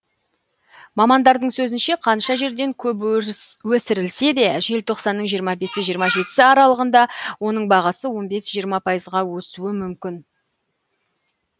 мамандардың сөзінше қанша жерден көп өсірілсе де желтоқсанның жиырма бес жиырма жетісі аралығында оның бағасы он бес жиырма пайызға өсуі мүмкін